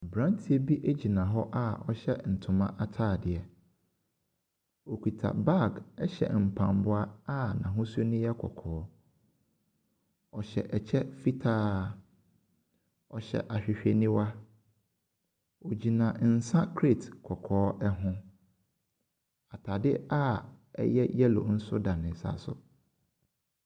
Abranteɛ bi gyina hɔ a ɔhyɛ ntoma ataadeɛ. ɔkuta bag, ɛhyɛ mpaboa a ahosuo no yɛ kɔkɔɔ. Ɔhyɛ ɛkyɛ fitaa. Ɔhyɛ awhewheniwa. Ɔgyina nsa crate kɔkɔɔ ɛho. Ataade a ɛyɛ yellow nso da ne nsa so.